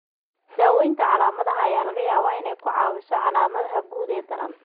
Daawaynta calaamadaha ayaa laga yaabaa inay ku caawiso calaamadaha guud ee daran.